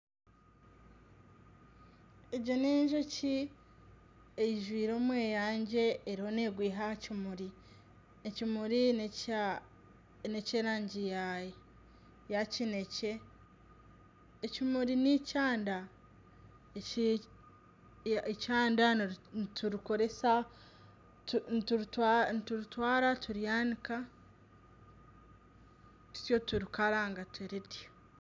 Egi n'enjoki eijwire omweyangye eriyo negwiha aha kimuri, ekimuri nekye erangi ya kinekye, ekimuri neikyanda. Eikyanda niturikoresa, nituritwara turyanika tutyo turikaranga turirya.